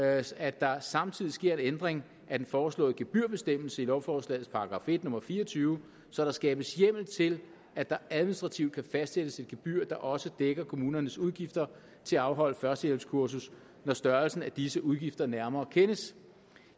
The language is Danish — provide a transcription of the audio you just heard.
at at der samtidig sker en ændring af den foreslåede gebyrbestemmelse i lovforslagets § en nummer fire og tyve så der skabes hjemmel til at der administrativt kan fastsættes et gebyr der også dækker kommunernes udgifter til at afholde førstehjælpskursus når størrelsen af disse udgifter nærmere kendes